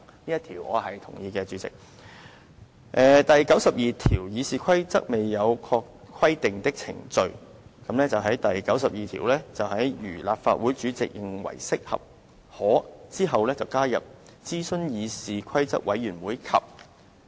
此外，他還修訂了第92條。在"如立法會主席認為適合，可"之後加入"諮詢議事規則委員會及"。